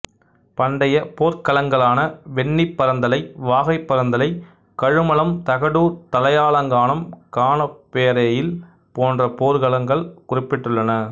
பண்டைய போர்க் களங்களான வெண்ணிப்பறந்தலை வாகைப்பறந்தலை கழுமலம் தகடூர் தலையாலங்கானம் கானப்பேரெயில் போன்ற போர்க்களங்கள் குறிப்பிட்டுள்ளன